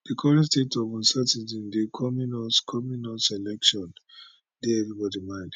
di current state of uncertainty di coming us coming us election dey everybody mind